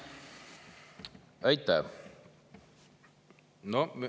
Aitäh!